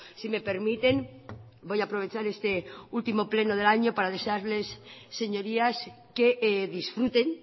si me permiten voy a aprovechar este último pleno del año para desearles señorías que disfruten